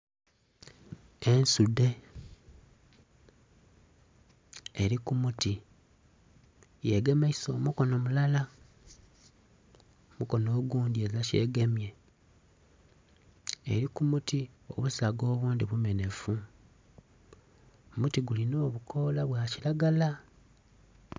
Ensudhe eri kumuti yegemaisa omukono mulala omukono ogundhi ezira kyegemye eri kumuti obusaga obundhi bumenhefu, omuti guli n'obukola bwakiragala.